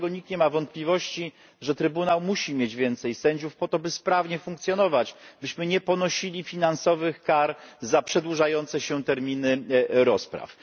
Nikt nie ma wątpliwości co do tego, że Trybunał musi mieć więcej sędziów po to, by sprawnie funkcjonować, byśmy nie ponosili finansowych kar za przedłużające się terminy rozpraw.